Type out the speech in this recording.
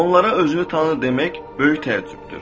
Onlara özünü tanı demək böyük təəccübdür.